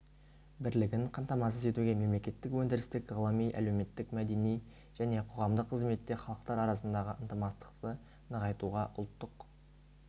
бірлігін қамтамасыз етуге мемлекеттік өндірістік ғылыми әлеуметтік-мәдени және қоғамдық қызметте халықтар арасындағы ынтымақтастықты нығайтуға ұлттық